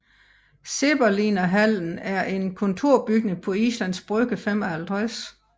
Zeppelinerhallen er en kontorbygning på Islands Brygge 55